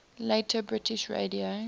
later british radio